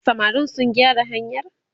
samarin sun gyara hanyar?